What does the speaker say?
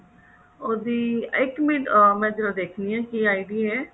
ਉਹਦੀ ਇਕ ਮਿੰਟ ਜਰਾ ਮੈਂ ਦੇਖਦੀ ਹਾਂ ਕੀ ID ਹੈ